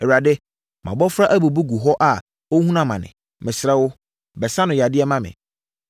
“Awurade, mʼabɔfra abubu gu hɔ a ɔrehunu amane; mesrɛ wo, bɛsa no yadeɛ ma me.”